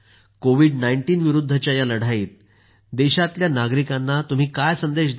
COVID-19 विरुद्धच्या या लढाईत देशातल्या नागरिकांना तुम्ही काय संदेश द्याल